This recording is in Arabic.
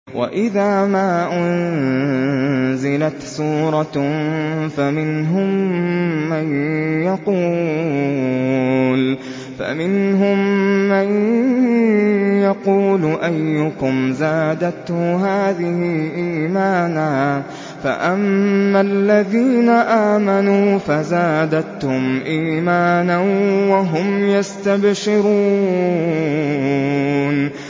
وَإِذَا مَا أُنزِلَتْ سُورَةٌ فَمِنْهُم مَّن يَقُولُ أَيُّكُمْ زَادَتْهُ هَٰذِهِ إِيمَانًا ۚ فَأَمَّا الَّذِينَ آمَنُوا فَزَادَتْهُمْ إِيمَانًا وَهُمْ يَسْتَبْشِرُونَ